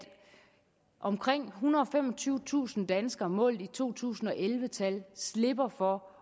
omkring ethundrede og femogtyvetusind danskere målt i to tusind og elleve tal slipper for